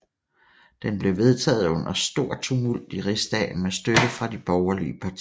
Den blev vedtaget under stor tumult i rigsdagen med støtte fra de borgerlige partier